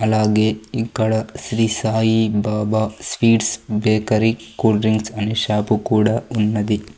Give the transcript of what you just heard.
అలాగే ఇక్కడ Shri Sai Baba sweets bakery cool drinks అనే షాప్ కూడా ఉన్నది.